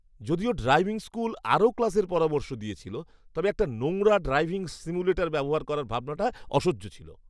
যদিও driving school আরও ক্লাসের পরামর্শ দিয়েছিল, তবে একটা নোংরা ড্রাইভিং সিমুলেটর ব্যবহার করার ভাবনাটা অসহ্য ছিল।